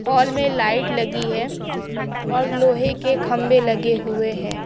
हाल में लाइट लगी है और लोहे के खंभे लगे हुए है।